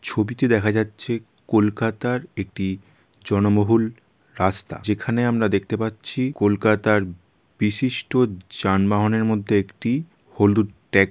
ছবিটাতে দেখা যাচ্ছে কলকাতার একটি জনবহুল রাস্তা। যেখানে আমরা দেখতে পাচ্ছি কলকাতার বিশিষ্ট যানবহন এর মধ্যে একটি .হলুদ ট্যাগ ।